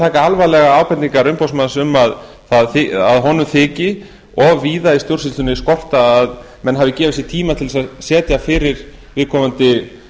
taka alvarlega ábendingar umboðsmanns um að honum þyki of víða í stjórnsýslunni skorta á að menn hafi gefið sér tíma til að sitja fyrir viðkomandi